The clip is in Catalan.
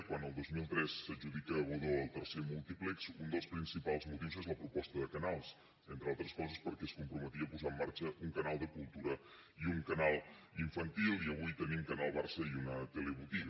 quan el dos mil tres s’adjudica a godó el tercer múltiplex un dels principals motius és la proposta de canals entre altres coses perquè es comprometia a posar en marxa un canal de cultura i un canal infantil i avui tenim canal barça i una telebotiga